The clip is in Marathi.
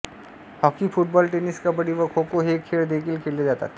हॉकी फुटबॉल टेनिस कबड्डी व खोखो हे खेळ देखील खेळले जातात